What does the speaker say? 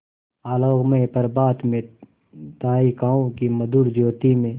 आलोकमय प्रभात में तारिकाओं की मधुर ज्योति में